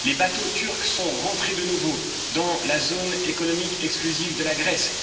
Les bateaux turcs sont rentrés de nouveau dans la zone économique exclusive de la Grèce.